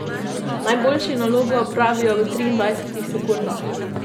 Najboljši nalogo opravijo v triindvajsetih sekundah.